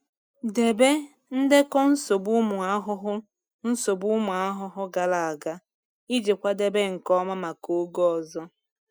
Debe ndekọ nsogbu ụmụ ahụhụ nsogbu ụmụ ahụhụ gara aga iji kwadebe nke ọma maka oge ọzọ.